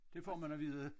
Det får man at vide